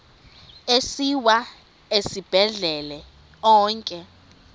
asiwa esibhedlele onke